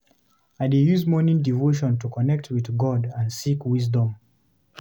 I dey use morning devotion to connect with God and seek wisdom.